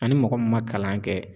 Ani mɔgɔ min ma kalan kɛ